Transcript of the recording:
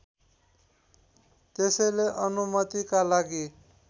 त्यसैले अनुमतिका लागि